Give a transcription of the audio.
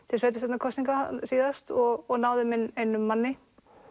til sveitarstjórnarkosninga síðast og náðum inn einum manni